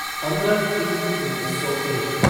पंद्रह तीन उन्नीस सौ एक